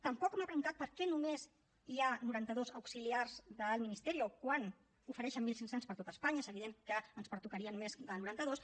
tampoc m’ha contestat per què només hi ha noranta dos auxiliars del ministerio quan n’ofereixen mil cinc cents per a tot espanya i és evident que ens en pertocarien més de noranta dos